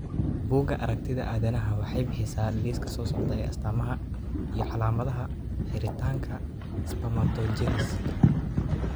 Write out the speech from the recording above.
Bugaa aragtida aDdanaha waxay bixisaa liiska soo socda ee astamaha iyo calaamadaha xiritaanka spermatogenesika.